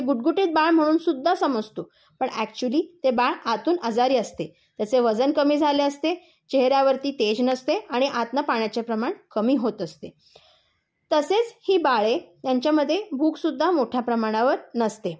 गुबगुबीत बाळ म्हणून सुद्धा समजतो. पण अकचुयली ते बाळ आतून आजारी असते. त्याचे बाजण कमी झाले असते, चेहर् यावरती तेज नसते. आणि आतून पाण्याचे प्रमाण कमी होत असते. तसेच ही बाळे यांच्यामध्ये भूक सुद्धा मोठ्या प्रमाणावर नसते.